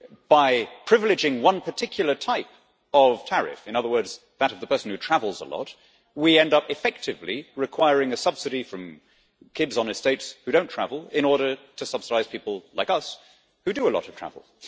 By privileging one particular type of tariff in other words, that of the person who travels a lot we end up effectively requiring a subsidy from kids on estates who don't travel in order to subsidise people like us who do a lot of travel.